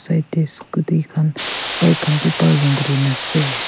Side dae scooty khan bike khan bi parking kurina ase.